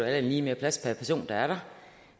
andet lige mere plads per person der er der